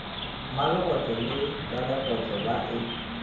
mmalegotlo le ralegotlo ba e